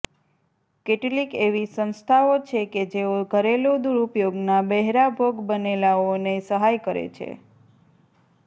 કેટલીક એવી સંસ્થાઓ છે કે જેઓ ઘરેલુ દુરુપયોગના બહેરા ભોગ બનેલાઓને સહાય કરે છે